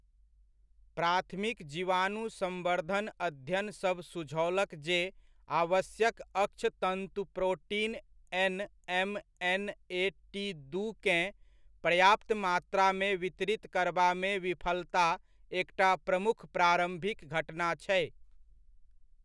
प्राथमिक जीवाणु संवर्धन अध्ययनसभ सुझओलक जे आवश्यक अक्षतन्तु प्रोटीन एन.एम.एन.ए.टी.दू केँ पर्याप्त मात्रामे वितरित करबामे विफलता एकटा प्रमुख प्रारम्भिक घटना छै।